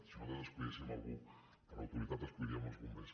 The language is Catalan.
si nosaltres escollíssim algú per a autoritat escolliríem els bombers